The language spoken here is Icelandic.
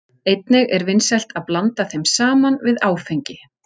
Einnig er vinsælt að blanda þeim saman við áfengi.